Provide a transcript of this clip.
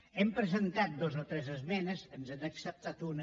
hem presentat dues o tres esmenes ens n’han acceptat una